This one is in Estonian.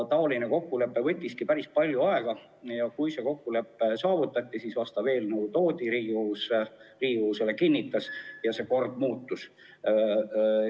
Selle kokkuleppeni jõudmine võttis päris palju aega ja kui kokkulepe saavutati, siis toodi vastav eelnõu Riigikogusse, Riigikogu kinnitas selle ja kord muutus.